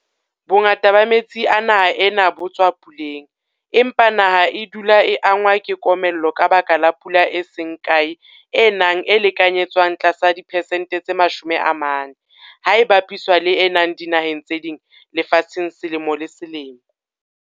Bongata ba metsi a naha ena bo tswa puleng, empa naha e dula e angwa ke komello ka lebaka la pula e seng kae e nang e lekanyetswang tlasa dipesente tse 40 ha e bapiswa le e nang dinaheng tse ding lefatsheng selemo le selemo.